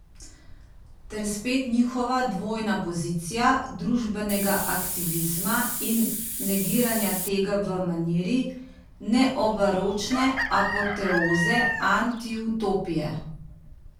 Ter spet njihova dvojna pozicija družbenega aktivizma in negiranja tega v maniri neobaročne apoteoze antiutopije.